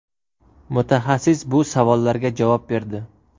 Mutaxassis bu savollarga javob berdi.